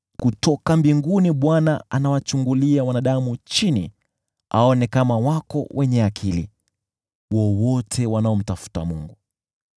Bwana anawachungulia wanadamu chini kutoka mbinguni aone kama wako wenye akili, wowote wanaomtafuta Mungu.